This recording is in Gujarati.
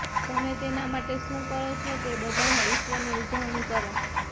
તમે તેના માટે શું કરો છો તે બધામાં ઈશ્વરની ઉજવણી કરો